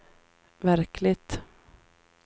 verkligt